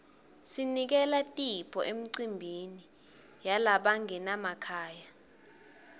sinikela tipho emicimbini yalabangenamakhaya